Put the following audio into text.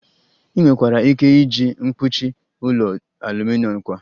Ị nwekwara ike iji mkpuchi ụlọ aluminom kwa